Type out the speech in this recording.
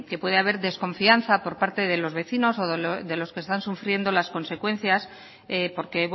puede haber desconfianza por parte de los vecinos o de los que están sufriendo las consecuencias porque